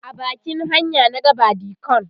a bakin hanya na ga badikon